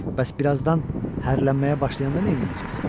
Bəs bir azdan hərlənməyə başlayanda nə eləyəcəksən?